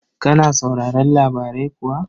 Kana sauraron labarai kuwa?